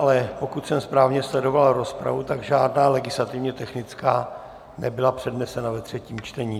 Ale pokud jsem správně sledoval rozpravu, tak žádná legislativně technická nebyla přednesena ve třetím čtení.